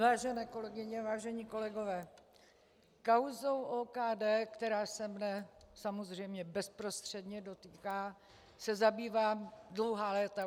Vážené kolegyně, vážení kolegové, kauzou OKD, která se mne samozřejmě bezprostředně dotýká, se zabývám dlouhá léta.